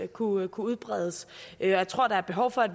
kunne udbredes jeg tror der er behov for at